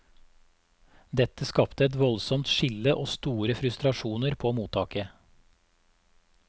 Dette skapte et voldsomt skille og store frustrasjoner på mottaket.